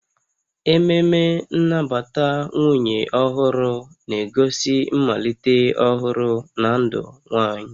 Ememe nnabata nwunye ọhụrụ na-egosi mmalite ọhụrụ na ndụ nwanyị